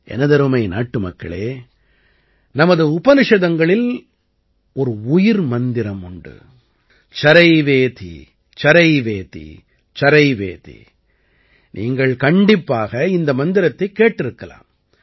எனதருமை நாட்டுமக்களே நமது உபநிஷதங்களில் ஒரு உயிர் மந்திரம் உண்டு சரைவேதி சரைவேதி சரைவேதி நீங்கள் கண்டிப்பாக இந்த மந்திரத்தைக் கேட்டிருக்கலாம்